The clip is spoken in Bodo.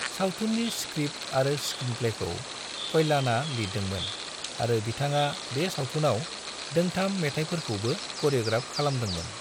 सावथुननि स्क्रिप्ट आरो स्क्रिनप्लेखौ कल्याणआ लिरदोंमोन आरो बिथाङा बे सावथुनाव दोंथाम मेथाइफोरखौबो करिय'ग्राफ खालामदोंमोन।